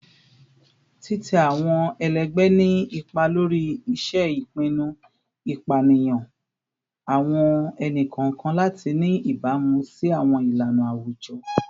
Titẹ awọn ẹlẹgbẹ ni ipa lori ṣiṣe ipinnu, ipaniyan awọn ẹni-kọọkan lati ni ibamu si awọn ilana awujọ